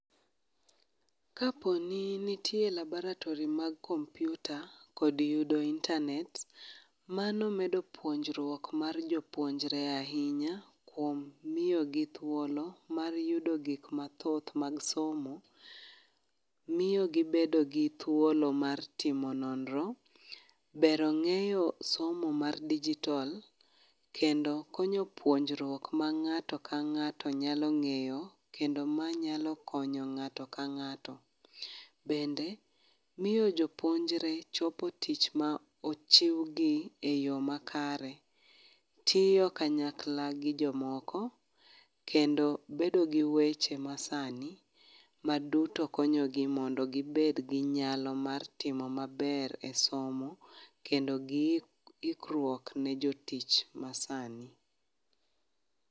Kaponi nitie laboratory mag kompiuta, kod yudo internet mano medo puonjruok mar jopuonjre ahinya kuom miyo gi thuolo mar yudo gik mathoth mag somo, miyo gibedo gi thuolo mar timo nonro ng'eyo somo mar dijitol kendo konyo puonjruok ma ng'ato ka ng'ato nyalo ng'eyo kendo manyalo konyo ng'ato ka ng'ato bende miyo jo puonjre chopo tich ma ochiw nigi eyo makare. Tiyo kanyakla gi jomoko kend bedo gi weche masani maduto konyogi mondo gibed gi nyalo mar timo maber esomo kendo ikruok ne jotich masani